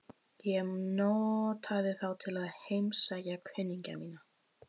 Ég notaði þá til að heimsækja kunningja mína.